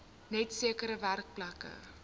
net sekere werkplekke